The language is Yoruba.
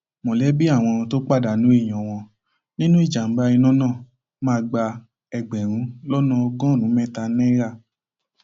mọlẹbí àwọn tó pàdánù èèyàn wọn nínú ìjàmbá iná náà máa gba ẹgbẹrún lọnà ọgọrùnún mẹta náírà